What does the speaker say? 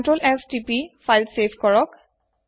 Ctrl S তিপক file save কৰিবলৈ